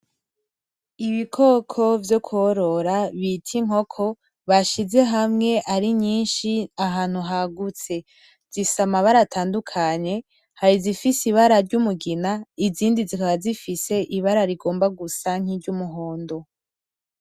Ibikoko vyo korora bita inkoko bashize hamwe ari nyinshi ahantu hagutse, zifise amabara atandukanye hari izifise ibara ry'umugina izindi zikaba zifise ibara rigomba gusa nkiry'umuhondo.